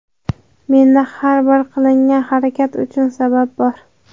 Menda har bir qilingan harakat uchun sabab bor.